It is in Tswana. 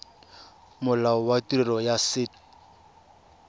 molao wa tirelo ya set